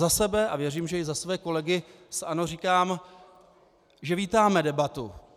Za sebe a věřím, že i za své kolegy z ANO, říkám, že vítáme debatu.